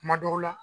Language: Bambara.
Kuma dɔw la